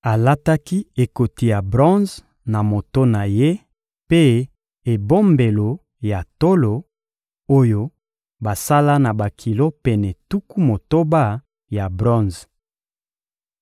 Alataki ekoti ya bronze na moto na ye mpe ebombelo ya tolo, oyo basala na bakilo pene tuku motoba ya bronze.